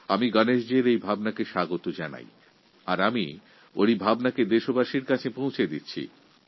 এর চিন্তাধারাকে স্বাগত জানাচ্ছি এবং তাঁর কথা দেশবাসীর কাছে পৌঁছে দিচ্ছি